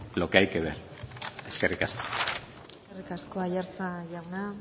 lo que hay que ver eskerrik asko eskerrik asko aiartza jauna